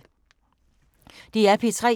DR P3